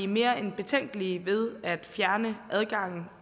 mere end betænkelige ved at fjerne adgangen